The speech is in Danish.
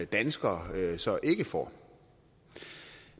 danskere så ikke får